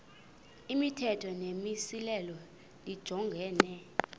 imithetho nemimiselo lijongene